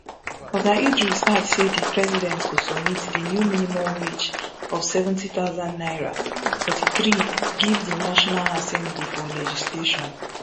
oga idris add say di president go submit di new minimum wage of seventy thousand naira forty-three give di national assembly for legislation